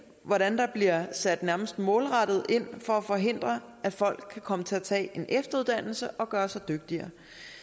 hvordan der bliver sat nærmest målrettet ind for at forhindre at folk kan komme til at tage en efteruddannelse og gøre sig dygtigere